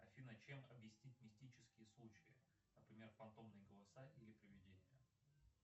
афина чем объяснить мистические случаи например фантомные голоса или приведения